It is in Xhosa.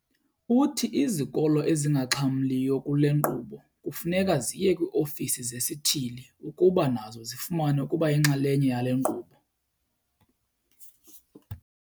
Uthi izikolo ezingaxhamliyo kule nkqubo kufuneka ziye kwii-ofisi zesithili ukuba nazo zifumane ukuba yinxalenye yale nkqubo.